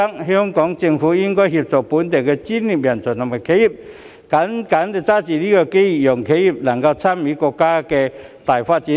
香港政府應協助本地專業人才及企業積極抓緊新機遇，讓企業能夠參與國家的大發展。